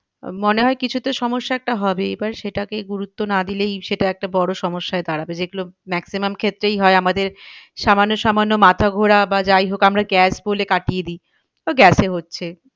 আহ মনে হয় কিছু তো সমস্যা একটা হবেই। এবার সেটাকে গুরুত্ব না দিলেই সেটা একটা বড়ো সমস্যায় দাঁড়াবে যেগুলো maximum ক্ষেত্রেই হয় আমাদের সামান্য সামান্য মাথা ঘোড়া বা যাই হোক আমরা gas বলে কাটিয়ে দিই। তো gas এ হচ্ছে।